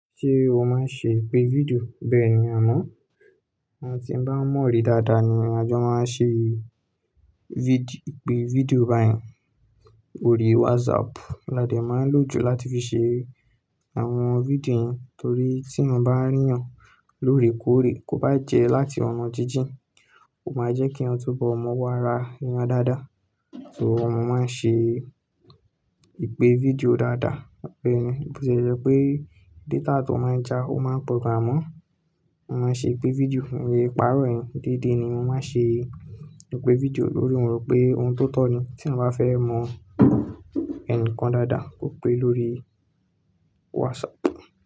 Ṣé o máa ń ṣe ìpè video bẹ́ẹ̀ ni a mọ̀, àwon ti bá ń mọ̀ ọ́ rí dáadáa ni a jọ máa ń ṣe video ìpè video báyìí. Orí WhatsApp la dé máa ń lò jù láti fi ṣe àwọn fídíò yẹn torí tí eeyan bá rí eeyan lóorekóre kó bá jẹ́ láti ọ̀nà jíjìn, ó máa jẹ́ kí eeyan tún bọ̀ mọ́ owo àra ẹ́eyan dáadáa. So mọ máa ń ṣe ìpè fídíò dáadáa bẹ́ẹ̀ ni. Bo ti e jẹ́ pé data tan máa ń já ó máa ń pọ̀ gan an amọ́, mo máa ṣe ìpè fídíò, emii párọ̀ yẹ̀n deede ni mo máa ń ṣe ìpè fídíò lórí wòn. Mo rò pé ohun tó tọ́ ni tí eeyan bá fẹ́ mọ ẹni kan dáadáa kó pé lórí WhatsApp.